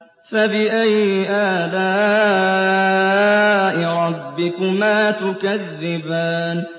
فَبِأَيِّ آلَاءِ رَبِّكُمَا تُكَذِّبَانِ